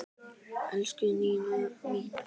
Elsku Nína mín.